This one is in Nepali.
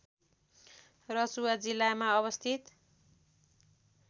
रसुवा जिल्लामा अवस्थित